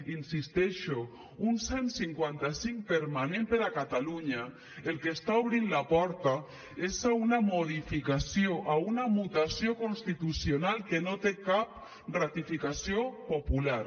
hi insisteixo un cent i cinquanta cinc permanent per a catalunya al que està obrint la porta és a una modificació a una mutació constitucional que no té cap ratificació popular